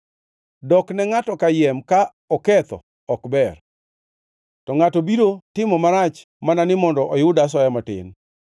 Dok ne ngʼato kayiem ka oketho ok ber, to ngʼato biro timo marach mana ni mondo oyud asoya matin.